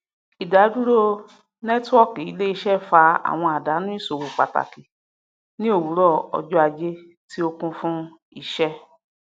ìdádúró nẹtíwọọkì iléiṣẹ fa àwọn àdánù ìṣòwò pàtàkì ní òwúrọ ọjọ ajé tí ó kuń fun iṣẹ